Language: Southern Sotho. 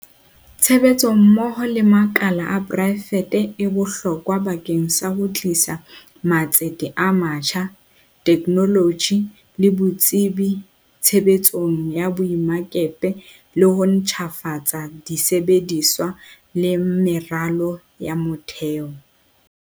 Tshebetso mmoho le makala a poraefete e bohlokwa bakeng sa ho tlisa matsete a matjha, the knoloji le botsebi tshebetsong ya boemakepe le ho ntjhafatsa di sebediswa le meralo ya motheo.